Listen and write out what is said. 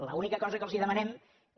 l’única cosa que els demanem és